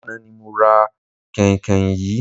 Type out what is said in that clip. Lánàá ni mo ra kànhìnkànhìn yìí.